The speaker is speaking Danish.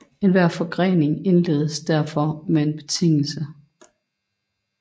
Enhver forgrening indledes derfor med en betingelse